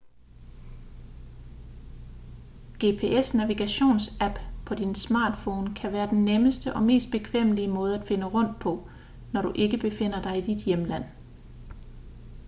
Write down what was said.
gps-navigationsapps på din smartphone kan være den nemmeste og mest bekvemmelige måde at finde rundt på når du ikke befinder dig i dit hjemland